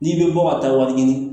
N'i bɛ bɔ ka taa wari ɲini